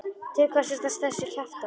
Til hvers ertu að þessu kjaftæði?